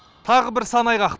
тағы бір сан айғақ